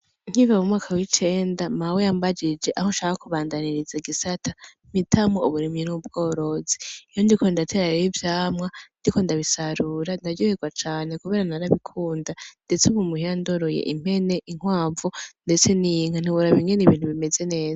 Nkiva mumwaka wicenda, mawe yambajije aho nshaka kubandaniriza igisata, mpitamwo uburimyi n’ubworozi. Iyo ndiko ndatera rero ivyamwa , ndiko ndabisarura , ndaryohegwa cane kubera narabikunda ndetse ubu muhira ndoroye impene , inkwavu ndetse n’inka. Ntiworaba ingene ibintu bimeze neza.